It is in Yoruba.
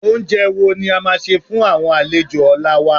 Oúnjẹ wo ni a máa sè fún àwọn àlejò ọ̀la wa?